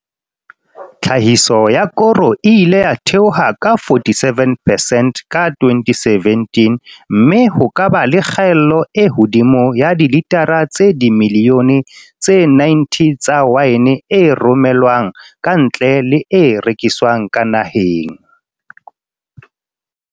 Tlhahiso ya koro e ile ya theoha ka 47 percent ka 2017 mme ho ka ba le kgaelo e hodimo ya dilitara tse dimi lione tse 90 tsa waene e rome lwang kantle le e rekiswang ka naheng.